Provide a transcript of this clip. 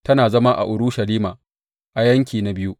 Tana zama a Urushalima, a Yanki na Biyu.